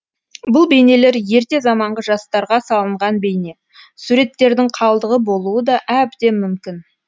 бұл бейнелер ерте заманғы жастарға салынған бейне суреттердің қалдығы болуы да әбден мүмкін